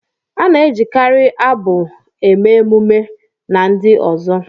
A na-ejikarị abụ abụ eme emume, emume, na ndi uzo